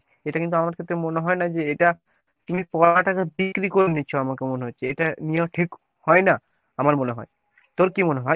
এটা কিন্ত আমাদের ক্ষেত্রে মনে হয়না যে এটা তুমি পড়াটাকে বিক্রি করে দিচ্ছ আমার তো মনে হচ্ছে। এটা নেওয়া ঠিক হয়না আমার মনে হয় তোর কী মনে হয় ?